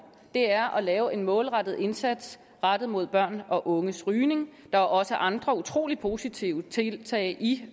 er at lave en målrettet indsats rettet mod børn og unges rygning der er også andre utrolig positive tiltag i